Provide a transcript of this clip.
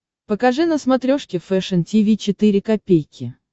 покажи на смотрешке фэшн ти ви четыре ка